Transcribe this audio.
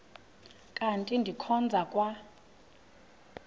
kanti ndikhonza kwa